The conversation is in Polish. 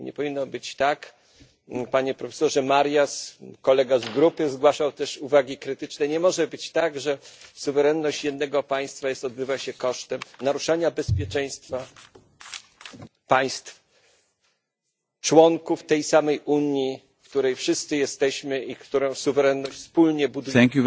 Nie powinno być tak, panie profesorze Marias, kolega z grupy zgłaszał też uwagi krytyczne, nie może być tak, że suwerenność jednego państwa odbywa się kosztem naruszania bezpieczeństwa państw, członków tej samej Unii, w której wszyscy jesteśmy i której suwerenność wspólnie budujemy.